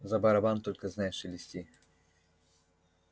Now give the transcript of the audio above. за барабан только знай шелести